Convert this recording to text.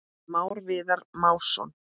Már Viðar Másson.